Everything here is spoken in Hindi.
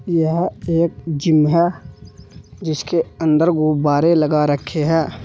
यह एक जिम है जिसके अंदर गुब्बारे लगा रखे हैं।